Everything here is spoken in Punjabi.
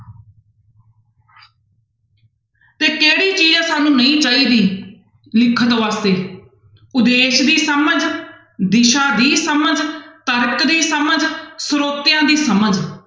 ਤੇ ਕਿਹੜੀ ਚੀਜ਼ ਹੈ ਸਾਨੂੰ ਨਹੀਂ ਚਾਹੀਦੀ ਲਿਖਣ ਵਾਸਤੇ, ਉਦੇਸ਼ ਦੀ ਸਮਝ ਦਿਸ਼ਾ ਦੀ ਸਮਝ, ਤਰਕ ਦੀ ਸਮਝ, ਸਰੋਤਿਆਂ ਦੀ ਸਮਝ